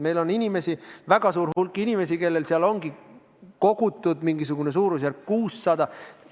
Meil on väga suur hulk inimesi, kellel on kogutud suurusjärgus 600 eurot.